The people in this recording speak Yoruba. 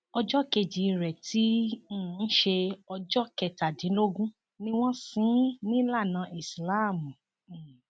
ọjọ kejì rẹ tí í um ṣe ọjọ kẹtàdínlógún ni wọn ṣí in nílànà islam um